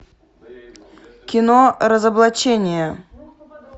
кино разоблачение